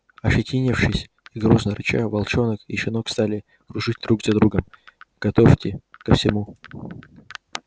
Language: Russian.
ощетинившись и грозно рыча волчонок и щенок стали кружить друг за другом готовьте ко всему